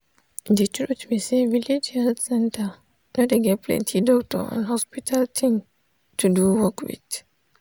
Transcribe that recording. de truth be say village health center no dey get plenti doctor and hospital thing to do work with.